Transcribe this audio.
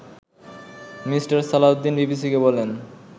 mister Salahuddin বিবিসিকে বলেন